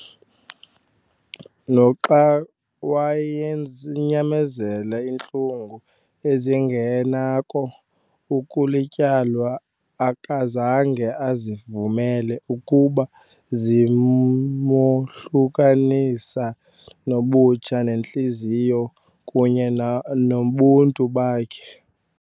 Noxa wayenyamezele iintlungu ezingenako ukulityalwa, akazange azivumele ukuba zimohlukanisa nobutsha-nentliziyo kunye nobuntu bakhe.